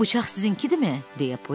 Bu bıçaq sizinkidirmi?